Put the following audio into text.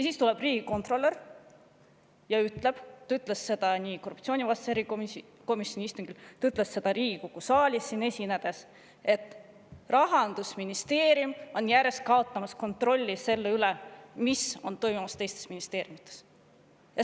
Siis tuleb riigikontrolör ja ütleb – ta ütles seda korruptsioonivastase erikomisjoni istungil, ta ütles seda Riigikogu saalis esinedes –, et Rahandusministeerium on järjest kaotamas kontrolli selle üle, mis toimub teistes ministeeriumides.